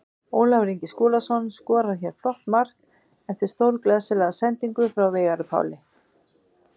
Ólafur Ingi Skúlason skorar hér flott mark eftir stórglæsilega sendingu frá Veigari Páli.